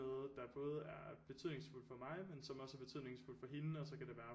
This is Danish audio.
Noget der både er betydningsfuldt for mig men som også er betydningsfuldt for hende og så kan det være